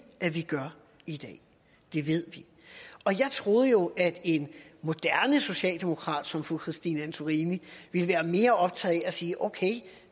at vi gør i dag det ved vi jeg troede jo at en moderne socialdemokrat som fru christine antorini ville være mere optaget af at sige okay